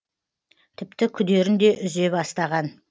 тіпті күдерін де үзе бастаған